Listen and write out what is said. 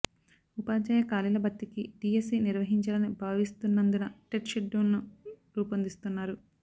ఉపాధ్యాయ ఖాళీల భర్తీకి డీఎస్సీ నిర్వహించాలని భావిస్తున్నందున టెట్ షెడ్యూల్ను రూపొందిస్తున్నారు